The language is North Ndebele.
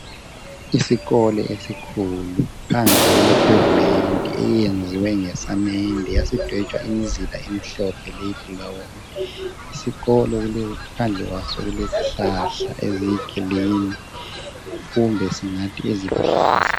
Isikolo esikhulu phandle kule phevumenti eyenziwe ngesamende yasidwetshwa imizila emihlophe leyibhulawuni isikolo phandle kwaso kulezihlahla eziyigilini kumbe singathi eziluhlaza